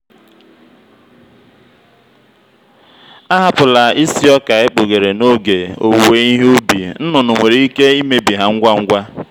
ahapụla isi ọka ekpughere n'oge owuwe ihe ubi nnụnụ nwere ike imebi ha ngwa ngwa.